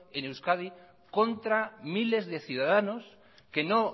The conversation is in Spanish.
en euskadi contra miles de ciudadanos que no